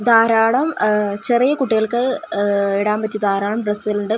ധാരാളം ഉഹ് ചെറിയ കുട്ടികൾക്ക് ഉഹ് ഇടാൻ പറ്റിയ ധാരാളം ഡ്രസ്സുകൾ ഉണ്ട് --